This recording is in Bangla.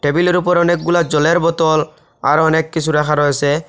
টেবিলের উপর অনেকগুলা জলের বোতল আরও অনেক কিছু রাখা রয়েছে।